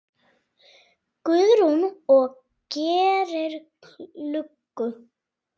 Guðrún: Og gerir lukku?